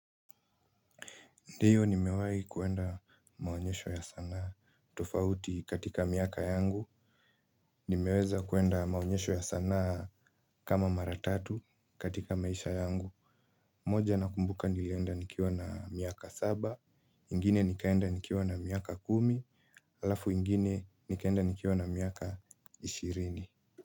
Ndiyo, nimewahi kwenda maonyesho ya sanaa, tofauti katika miaka yangu. Nimeweza kwenda maonyesho ya sanaa kama mara tatu katika maisha yangu. Moja nakumbuka nilienda nikiwa na miaka saba, ingine nikaenda nikiwa na miaka kumi, alafu ingine nikaenda nikiwa na miaka ishirini.